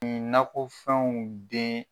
Nakɔfɛnw bɛ.